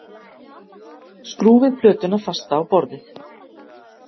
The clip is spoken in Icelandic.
Skrúfið plötuna fasta á borðið